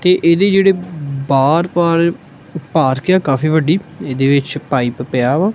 ਕਿ ਇਹਦੀ ਜਿਹੜੀ ਬਾਰ ਬਾਰ ਭਾਰਤੀ ਆ ਕਾਫੀ ਵੱਡੀ ਇਹਦੇ ਵਿੱਚ ਪਾਈਪ ਪਿਆ ਵਾ।